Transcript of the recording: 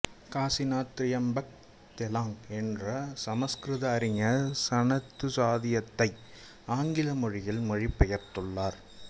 காசிநாத் திரியம்பக் தெலாங் என்ற சமசுகிருத அறிஞர் சனத்சுஜாதீயத்தை ஆங்கில மொழியில் மொழிபெயர்த்துள்ளார்